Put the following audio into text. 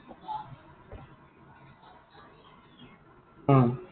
অ।